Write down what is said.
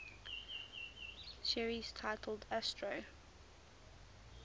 series titled astro